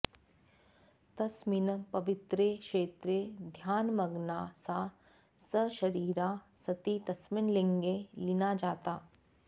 तस्मिन् पवित्रे क्षेत्रे ध्यानमग्ना सा सशरीरा सती तस्मिन् लिङ्गे लीना जाता